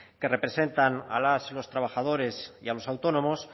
que representan a las y los trabajadores y a los autónomos